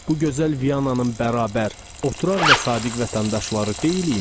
Bu gözəl Vyananın bərabər, oturaq və sadiq vətəndaşları deyilikmi?